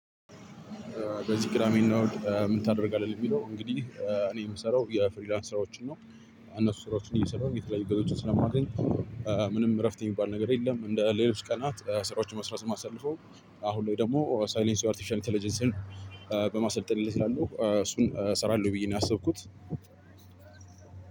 በዚህ ቅዳሜ እና እሁድ ምን ታደርጋለህ? የሚለው እንግዲህ እኔ የምሰራው የፍሪላንስ ስራዎችን ነው። እነሱ ስራዎችን እየሰራሁ የተለያዩ ገቢዎችን ስለማገኝ። ምንም እረፍት የሚባል ነገር የለም እንደ ሌሎች ቀናት ስራዎችን በመስራት ነው ማሳልፈው። አሁን ላይ ደግሞ ሳይሊንስ አርቲፊሻል ኢተለጀንስን በማሰልጠን ላይ ስላለሁ እሱን እሰራለሁ ብዬ ነው ያሰብኩት።